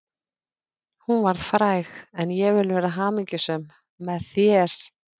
Hún varð fræg en ég vil vera hamingjusöm, með þér.